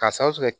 K'a sababu kɛ